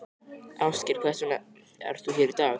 Ásgeir: Hvers vegna ert þú hér í dag?